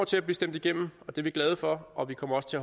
til at blive stemt igennem og det er vi glade for og vi kommer også til